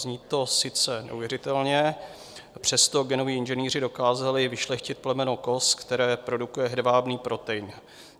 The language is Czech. Zní to sice neuvěřitelně, přesto genoví inženýři dokázali vyšlechtit plemeno koz, které produkuje hedvábný protein.